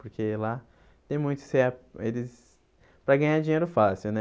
Porque lá tem muito... eles para ganhar dinheiro fácil, né?